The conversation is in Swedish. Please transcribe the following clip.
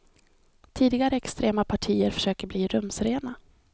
Tidigare extrema partier försöker bli rumsrena.